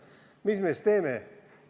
Mis me siis teeme?